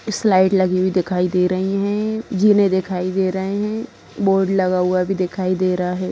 Slide लगी हुई दिखाई दे रही है जीने दिखाई दे रहे है बोर्ड लगा हुआ भी दिखाई दे रहा है।